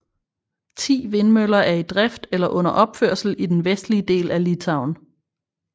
Ti vindmøller er i drift eller under opførelse i den vestlige del af Litauen